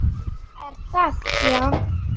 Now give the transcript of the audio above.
Er það já?